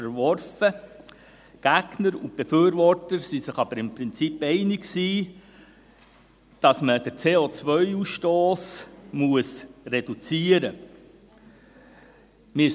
Die Gegner und Befürworter waren sich aber im Prinzip einig, dass man den CO-Ausstoss reduzieren muss.